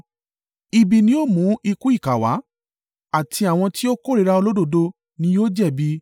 Ibi ni ó mú ikú ìkà wá, àti àwọn tí ó kórìíra olódodo ni yóò jẹ̀bi.